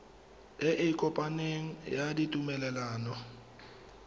e e kopaneng ya ditumalano